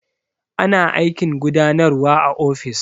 Ana aikin gudanarwa a ofis.